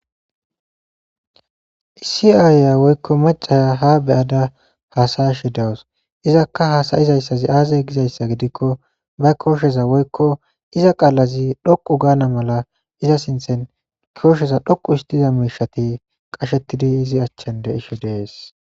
Issi ayya woykko macca ha be'adda hassashe dawuss. Izzakka hassaisizayss azze gizzayss gidikko ba koshshezi woykko izza qaalazi dhoqqu ganna mala izza sinththen koshezi dhoqqu histidayss mishshati qashethidi izzi achan de'she dees.